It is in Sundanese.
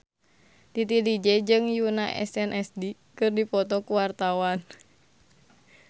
Titi DJ jeung Yoona SNSD keur dipoto ku wartawan